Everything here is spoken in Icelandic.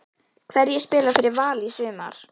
Hverjir spila fyrir Val í sumar?